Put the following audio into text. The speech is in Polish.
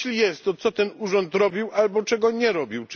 A jeśli jest, to co ten urząd robił albo czego nie robił?